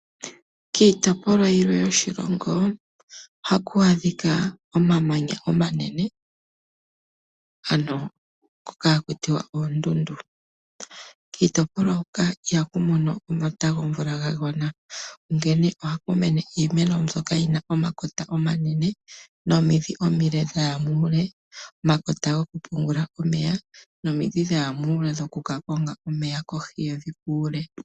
Kiitopolwa yilwe yoshilongo ohaku adhika omamanya omanene ngoka hakutiwa ondundu. Kiitopolwa huka ihaku mono omata gomvula gagwana onkene ohaku mene iimeno mbyoka yina omakota omanene nomidhi omile dhaya muule . Omakota ogo ku pungula omeya, nomidhi dhaya muule dhoku kakonga omeya kohi yevi kuule.